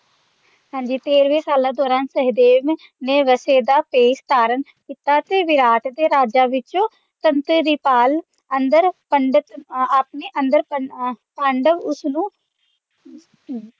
ਹਾਂ ਜੀ ਤੇਰਵੇਂ ਸਾਲਾਂ ਦੌਰਾਨ ਸਹਿਦੇਵ ਨੇ ਵੈਸ਼ ਦਾ ਭੇਸ ਧਾਰਨ ਕੀਤਾ ਸੀ ਵਿਰਾਟ ਦੇ ਰਾਜ ਵਿੱਚ ਧੰਦੇ ਦੀ ਭਾਲ ਅੰਦਰ ਪੰਡਤ ਆਪਣੇ ਅੰਦਰ ਪਾਂਡਵ ਉਸਨੂੰ